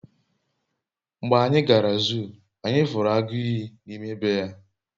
mgbe anyi gara zuu, anyi furu agu iyi n'ime be ya